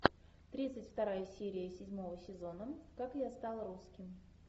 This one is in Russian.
тридцать вторая серия седьмого сезона как я стал русским